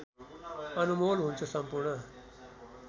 अनमोल हुन्छ सम्पूर्ण